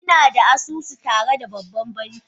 Ina da asusu tare da babban banki